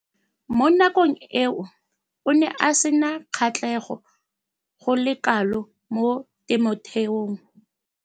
Mo nakong eo o ne a sena kgatlhego go le kalo mo temothuong.